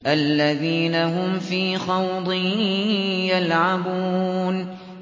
الَّذِينَ هُمْ فِي خَوْضٍ يَلْعَبُونَ